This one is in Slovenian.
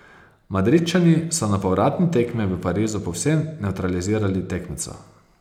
Madridčani so na povratni tekmi v Parizu povsem nevtralizirali tekmeca.